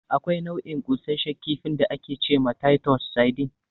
Akwai nau'in ƙunsashen kifin da ake ce ma "Taitos Saidin".